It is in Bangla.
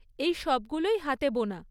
এই সবগুলোই হাতে বোনা।